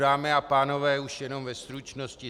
Dámy a pánové, už jenom ve stručnosti.